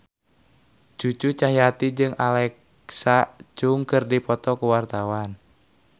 Cucu Cahyati jeung Alexa Chung keur dipoto ku wartawan